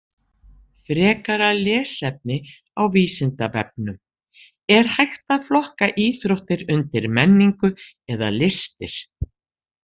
Frekara lesefni á Vísindavefnum: Er hægt að flokka íþróttir undir menningu eða listir?